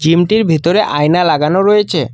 জিমটির ভেতরে আয়না লাগানো রয়েচে।